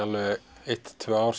eitt til tvö ár